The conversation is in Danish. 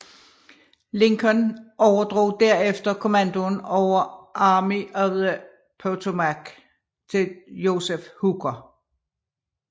Lincoln overdrog derefter kommandoen over Army of the Potomac til Joseph Hooker